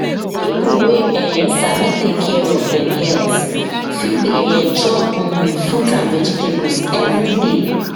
people wey um sabi take care of dem health fit dey um chop um fruit and vegetables every day